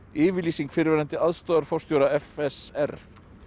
yfirlýsing fyrrverandi aðstoðarforstjóra f s r